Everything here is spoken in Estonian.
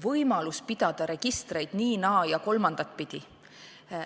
võimalus pidada registreid nii-, naa- ja kolmandat pidi.